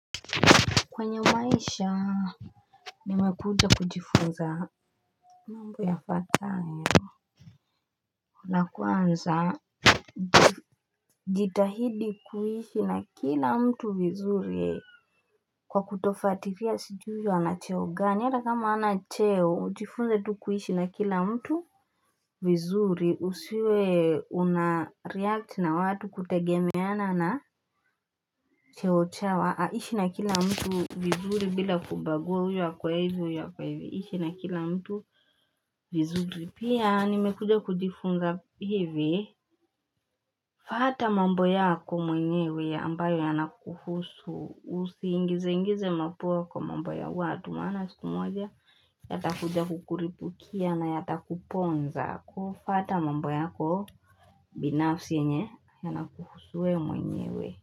Kwenye maisha, nimekuja kujifunza mambo yafwatayo na kwanza jitahidi kuishi na kila mtu vizuri kwa kutofuatilia sijui huyu anacheo gani, hana kama hanacheo, ujifunze tu kuishi na kila mtu vizuri, usiwe unareacti na watu kutegemeana na cheo chao, ishi na kila mtu vizuri bila kubagu huyu ako hivo huyu ako hivi, ishi na kila mtu vizuri pia nimekuja kujifunza hivi, fwata mambo yako mwenyewe ambayo yanakuhusu usiingize ingize mapua kwa mambo ya watu maana siku moja, yatakuja kukulipukia na yata kuponza, fuata mambo yako binafsi enye yanakuhusuwe mwenyewe.